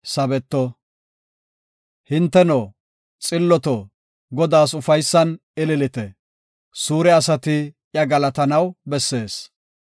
Hinteno, xilloto Godaas ufaysan ililite; suure asati iya galatanaw bessees.